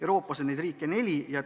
Euroopas on neid riike neli.